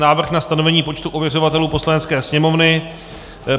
Návrh na stanovení počtu ověřovatelů Poslanecké sněmovny